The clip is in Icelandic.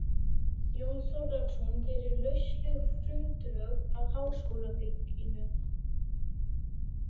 Jón Þorláksson gerir lausleg frumdrög að háskólabyggingu